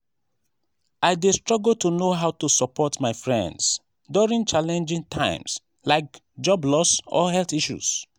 i dey struggle to know how to support my friends during challenging times like job loss or health issues.